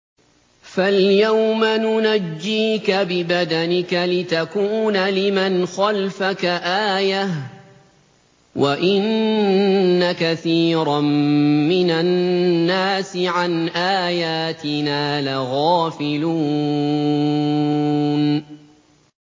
فَالْيَوْمَ نُنَجِّيكَ بِبَدَنِكَ لِتَكُونَ لِمَنْ خَلْفَكَ آيَةً ۚ وَإِنَّ كَثِيرًا مِّنَ النَّاسِ عَنْ آيَاتِنَا لَغَافِلُونَ